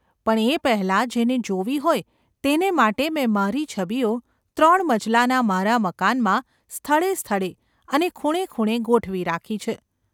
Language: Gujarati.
પણ એ પહેલાં જેને જોવી હોય તેને માટે મેં મારી છબીઓ ત્રણ મજલાના મારા મકાનમાં સ્થળે સ્થળે અને ખૂણે ખૂણે ગોઠવી રાખી છે.